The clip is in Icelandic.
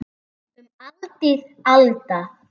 Um aldir alda.